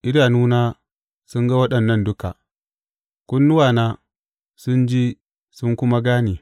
Idanuna sun ga waɗannan duka, kunnuwana sun ji sun kuma gane.